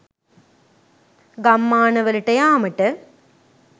ගම්මාන වලට යාමට